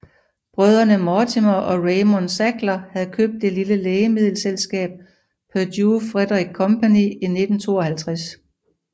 Brødrene Mortimer og Raymond Sackler havde købt det lille lægemiddelselskab Purdue Fredrick Company i 1952